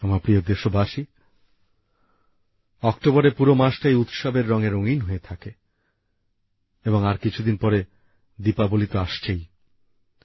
আমার প্রিয় দেশবাসী অক্টোবরের পুরো মাসটাই উৎসবের রঙে রঙিন হয়ে থাকে এবং আর কিছুদিন পরে দীপাবলি তো আসছেই